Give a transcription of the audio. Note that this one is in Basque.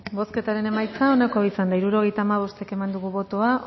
bozketaren emaitza onako izan da hirurogeita hamabost eman dugu bozka